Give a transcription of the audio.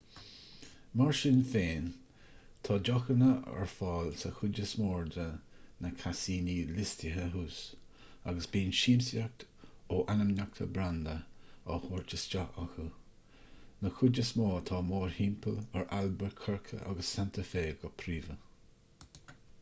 mar sin féin tá deochanna ar fáil sa chuid is mó de na casaíní liostaithe thuas agus bíonn siamsaíocht ó ainmneacha branda á thabhairt isteach acu na cuid is mó atá mórthimpeall ar albuquerque agus santa fe go príomha